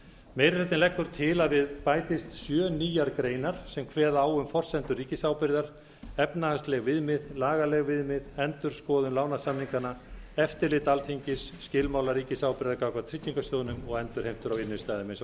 meiri hlutinn leggur til að við bætist sjö nýjar greinar sem kveða á um forsendur ríkisábyrgðar efnahagsleg viðmið lagaleg viðmið endurskoðun lánasamninganna eftirlit alþingis skilmála ríkisábyrgðar gagnvart tryggingarsjóðnum og endurheimtur á innstæðum eins